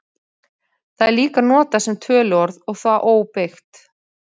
Það er líka notað sem töluorð og þá óbeygt.